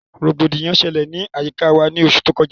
Rògbòdìyàn ṣẹlẹ̀ ni ayika wa ni oṣù tó kọjá